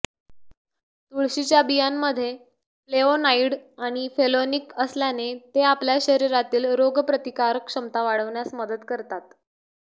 तुळशीच्या बियांमध्ये फ्लेवोनाईड आणि फेलोनिक असल्याने ते आपल्या शरीरातील रोगप्रतिकारक क्षमता वाढवण्यास मदत करतात